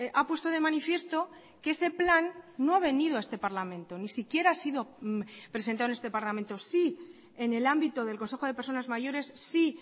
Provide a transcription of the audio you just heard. ha puesto de manifiesto que ese plan no ha venido a este parlamento ni siquiera ha sido presentado en este parlamento sí en el ámbito del consejo de personas mayores sí